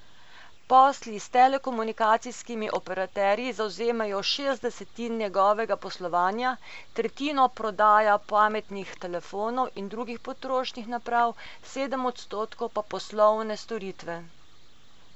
Posli s telekomunikacijskimi operaterji zavzemajo šest desetin njegovega poslovanja, tretjino prodaja pametnih telefonov in drugih potrošniških naprav, sedem odstotkov pa poslovne storitve.